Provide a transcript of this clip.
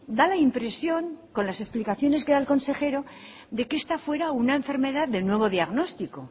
da la impresión con las explicaciones que da el consejero de que esta fuera una enfermedad de nuevo diagnóstico